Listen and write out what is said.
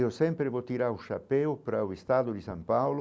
Eu sempre vou tirar o chapéu para o estado de São Paulo.